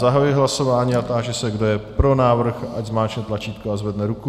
Zahajuji hlasování a táži se, kdo je pro návrh, ať zmáčkne tlačítko a zvedne ruku.